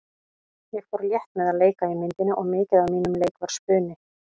Ég fór létt með að leika í myndinni og mikið af mínum leik var spuni.